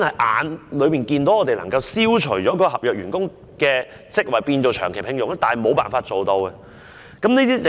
眼見當局其實可以消除合約員工的職位，把他們轉為長期聘用，但我們卻無法落實。